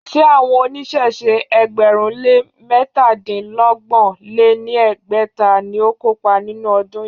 Ṣé àwọn oníṣẹ̀ṣe ẹgbẹ̀rún lé métadínọgbọ̀n lé ní ẹgbẹ́ta ni ó kópa nínú ọdún yìí?